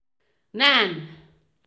nan